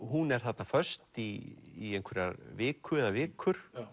hún er þarna föst í einhverja viku eða vikur